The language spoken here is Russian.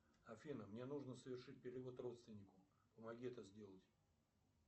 афина мне нужно совершить перевод родственнику помоги это сделать